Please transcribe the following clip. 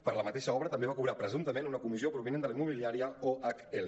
per la mateixa obra també va cobrar presumptament una comissió provinent de la immobiliària ohl